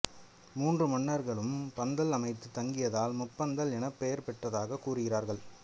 மூன்று மன்னர்களும் பந்தல் அமைத்து தங்கியதால் முப்பந்தல் எனப் பெயர் பெற்றதாக கூறுகிறார்கள்